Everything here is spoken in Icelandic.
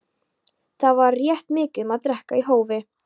Þá var rætt mikið um að drekka í hófi.